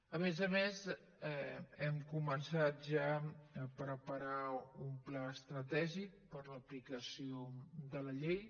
a més a més hem començat ja a preparar un pla estratègic per a l’aplicació de la llei